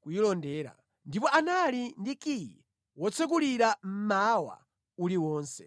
kuyilondera. Ndipo anali ndi kiyi wotsekulira mmawa uliwonse.